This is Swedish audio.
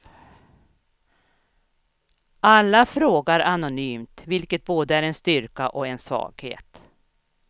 Alla frågar anonymt, vilket både är en styrka och en svaghet.